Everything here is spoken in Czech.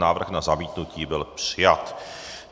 Návrh na zamítnutí byl přijat.